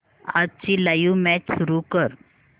आजची live match सुरू कर